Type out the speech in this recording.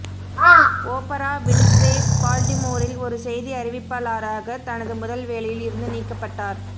opera Winfrey பால்டிமோரில் ஒரு செய்தி அறிவிப்பாளராக தனது முதல் வேலையில் இருந்து நீக்கப்பட்டார்